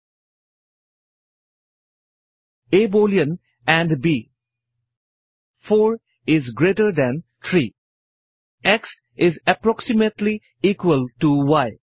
A boolean and b 4 each greater than 3 x each approximately equal to E